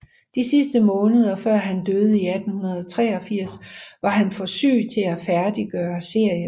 De sidste måneder før han døde i 1883 var han for syg til at færdiggøre serien